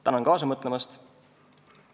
Tänan kaasa mõtlemast!